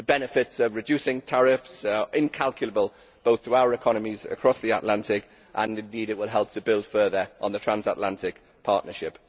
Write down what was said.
The benefits of reducing tariffs are incalculable, both to our economies and across the Atlantic, and indeed it will help to build further on the transatlantic partnership.